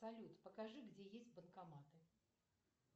салют покажи где есть банкоматы